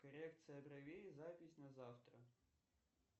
коррекция бровей запись на завтра